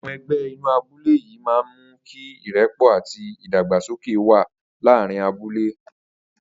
Àwo̩n e̩gbé̩ inú abúlé yìí máa ń mú kí ìré̩pò̩ àti ìdàgbàsókè wà láàárín abúlé